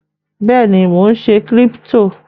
Bẹ́ẹ̀ ni, mò ń ṣe Kírípítò.